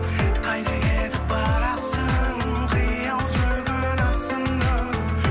қайда кетіп барасың қиял жүгін асынып